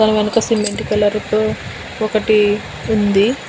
cement colour తో ఒకటి ఉంది